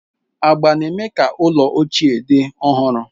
Agba na-eme ka ụlọ ochie dị ọhụrụ.